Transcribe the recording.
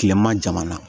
Kilema jamana